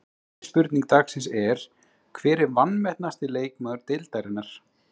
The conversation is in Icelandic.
Fyrri spurning dagsins er: Hver er vanmetnasti leikmaður deildarinnar?